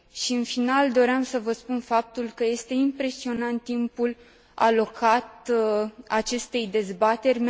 În final, doream să vă spun faptul că este impresionant timpul alocat acestei dezbateri.